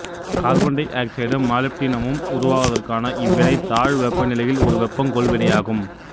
carbon டை ஆக்சைடும் மாலிப்டினமும் உருவாவதற்கான இவ்வினை தாழ்வெப்பநிலையில் ஒரு வெப்பங்கொள் வினையாகும்